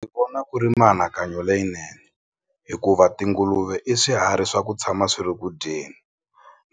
Ni vona ku ri mianakanyo leyinene hikuva tinguluve i swiharhi swa ku tshama swi ri ku dyeni